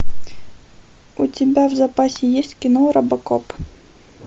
у тебя в запасе есть кино робокоп